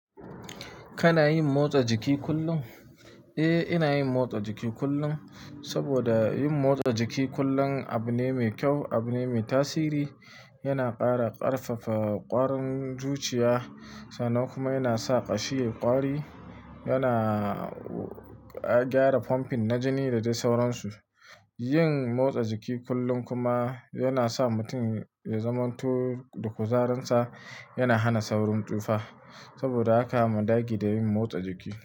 Kana yin motsa jiki kullum? Eh, ina yin motsa jiki kullum. Saboda yin motsa jiki kullum abu ne mai kyau, abu ne mai tasiri. Yana ƙara ƙarfafa ƙwarin zuciya sannan kuma yana sa ƙashi yai ƙwari. Yana gyara pumping na jini da dai sauransu. Yin motsa jiki kullum kuma yana sa mutum ya zamanto da kuzarinsa. Yana hana saurin tsufa. Saboda haka mu dage da yin motsa jiki.